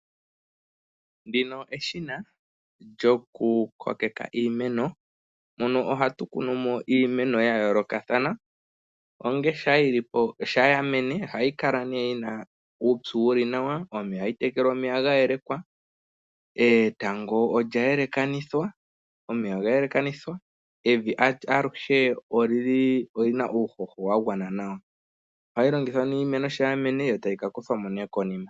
Ndino eshina lyokukokeka iimeno. Ohatu kunu mo iimeno ya yoolokathana, shampa ya mene ohayi kala yi na uupyu wu li nawa, ohayi tekelwa omeya ga yeleka, etango olya yeleka nevi aluhe oli na uuhoho wa gwana nawa. Oha li longithwa, yo iimeno ngele ya mene tayi ka kuthwa mo nee konima.